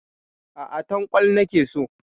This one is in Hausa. Aa, Tankwal nake so.